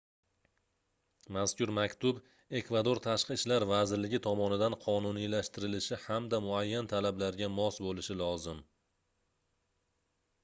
mazkur maktub ekvador tashqi ishlar vazirligi tomonidan qonuniylashtirilishi hamda muayyan talablarga mos boʻlishi lozim